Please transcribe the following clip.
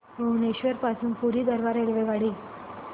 भुवनेश्वर पासून पुरी दरम्यान रेल्वेगाडी